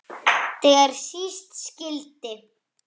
Þegar síst skyldi.